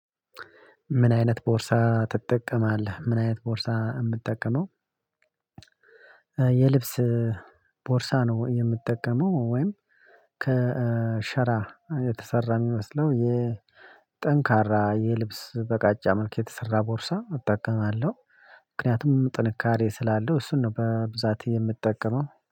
ምን አይነት ቦርሳ ትጠቀማለህ? ምን አይነት ቦርሳ? የምጠቀመው የልብስ ቦርሳ ነው የምጠቀመው ወይም ከሸራ የተሰራ የሚመስለው የጠንካራ የልብስ በቃጫ መልክ የተሰራ ቦርሳ እጠቀማለሁ። ምክንያቱም ጥንካሬ ስላለው እሱን ነው በብዛት የምጠቀመው